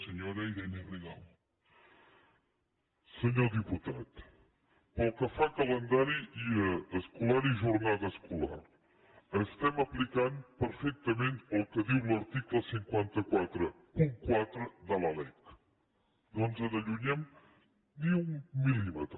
senyor diputat pel que fa a calendari escolar i jornada escolar estem aplicant perfectament el que diu l’article cinc cents i quaranta quatre de la lec no ens n’allunyem ni un mil·límetre